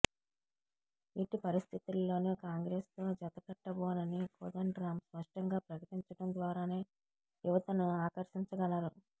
ఎట్టి పరిస్థితుల్లోనూ కాంగ్రెసుతో జతకట్టబోనని కోదండరామ్ స్పష్టంగా ప్రకటించటం ద్వారానే యువతను ఆకర్షించగలరు